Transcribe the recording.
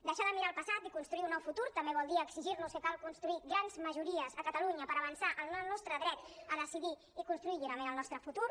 deixar de mirar el passat i construir un nou futur també vol dir exigir·nos que cal construir grans majories a catalunya per avançar en el nostre dret a decidir i construir lliurement el nostre fu·tur